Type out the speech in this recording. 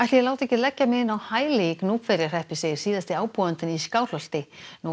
ég láti ekki leggja mig inn á hæli í Gnúpverjahreppi segir síðasti ábúandinn í Skálholti nú á